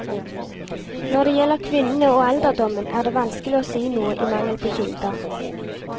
Når det gjelder kvinnene og alderdommen er de vanskelig å si noe i mangel på kilder.